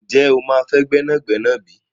Ǹjẹ́ o máa fẹ́ gbẹ́nàgbẹ́nà bí?